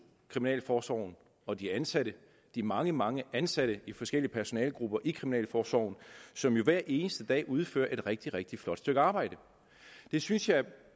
kriminalforsorgen og de ansatte de mange mange ansatte i forskellige personalegrupper i kriminalforsorgen som jo hver eneste dag udfører et rigtig rigtig flot stykke arbejde det synes jeg